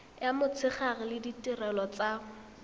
ya motshegare le ditirelo tsa